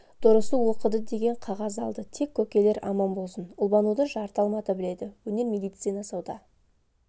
дұрысы оқыды деген қағаз алды тек көкелер аман болсын ұлбануды жарты алматы біледі өнер медицина сауда